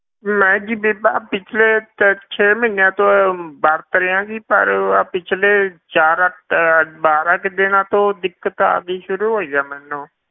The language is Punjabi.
ਮੈਂ ਜੀ ਬੀਬਾ ਪਿੱਛਲੇ ਤੇ ਛੇ ਮਹੀਨਿਆਂ ਤੋਂ ਵਰਤ ਰਿਹਾਂ ਜੀ ਪਰ ਆਹ ਪਿੱਛਲੇ ਚਾਰ ਅਹ ਬਾਰਾਂ ਕੁ ਦਿਨਾਂ ਤੋਂ ਦਿੱਕਤ ਆਉਣੀ ਸ਼ੁਰੂ ਹੋਈ ਹੈ ਮੈਨੂੰ,